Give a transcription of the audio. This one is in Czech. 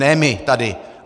Ne my, tady.